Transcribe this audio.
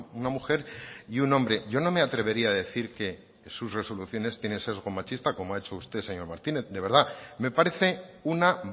una mujer y un hombre yo no me atrevería a decir que sus resoluciones tienen sesgo machista como ha hecho usted señor martínez de verdad me parece una